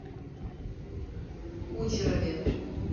кучерове